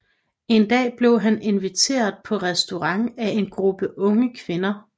En dag blev han inviteret på restaurant af en gruppe unge kvinder